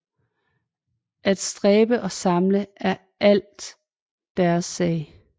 At stræbe og samle er alt deres sag